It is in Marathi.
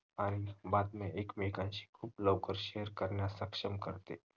आणि बातम्या एकमेकांशी लवकर share करण्यासाठी सक्षम करते